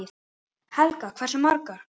Helga: Hversu margar?